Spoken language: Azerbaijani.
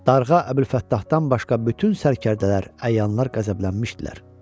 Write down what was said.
Darğa Əbülfəttahdan başqa bütün sərkərdələr, əyanlar qəzəblənmişdilər.